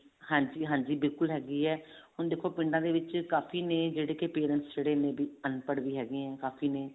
ਹਾਂਜੀ ਹਾਂਜੀ ਬਿਲਕੁਲ ਹੈਗੀ ਹੈ ਹੁਣ ਦੇਖੋ ਪਿੰਡਾਂ ਦੇ ਵਿੱਚ ਕਾਫੀ ਨੇ ਜਿਹੜੇ ਕੇ parents ਜਿਹੜੇ may be ਅਨਪੜ੍ਹ ਵੀ ਹੈਗੇ ਆਂ ਕਾਫੀ